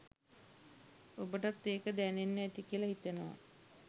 ඔබටත් ඒක දැනෙන්න ඇති කියලා හිතනවා